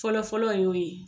Fɔlɔ fɔlɔ y'o ye.